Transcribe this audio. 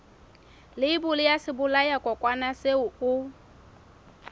leibole ya sebolayakokwanyana seo o